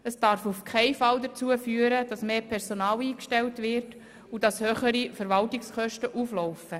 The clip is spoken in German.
Es darf auf keinen Fall dazu führen, dass mehr Personal eingestellt wird und dass höhere Verwaltungskosten auflaufen.